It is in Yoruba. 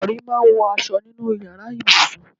Ìrọ̀rí máa ń wọ aṣọ nínú ìyára ibùsùn.